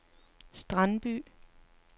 Strandby